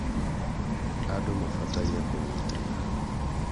andũ mabataire kũnyitana